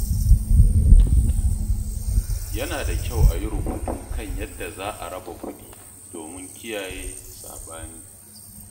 Yana da kyau a yi rubutu kan yadda za a raba kuɗi domin kiyaye saɓani.